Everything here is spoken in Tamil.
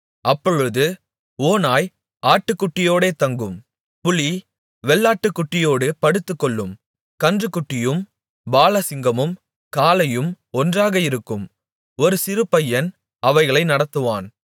அப்பொழுது ஓனாய் ஆட்டுக்குட்டியோடே தங்கும் புலி வெள்ளாட்டுக்குட்டியோடு படுத்துக்கொள்ளும் கன்றுக்குட்டியும் பாலசிங்கமும் காளையும் ஒன்றாக இருக்கும் ஒரு சிறு பையன் அவைகளை நடத்துவான்